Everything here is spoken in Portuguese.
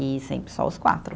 E sempre só os quatro.